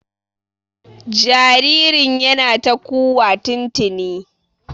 Jaririn yana ta ƙuwa tuntuni.